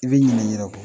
I bɛ ɲina i yɛrɛ kɔ